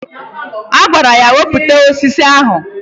Ọ gwara ya "Wepụta osisi ahụ!